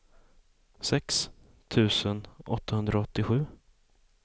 sex tusen åttahundraåttiosju